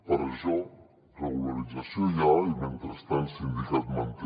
per això regularització ja i mentrestant sindicat manter